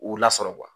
U lasɔrɔ